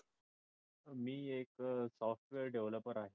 मी एक software developer आहे.